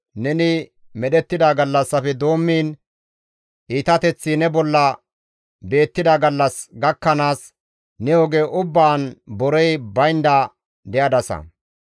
Neni medhettida gallassafe doommiin, iitateththi ne bolla beettida gallas gakkanaas, ne oge ubbaan borey baynda de7adasa.